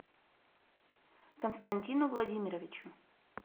константину владимировичу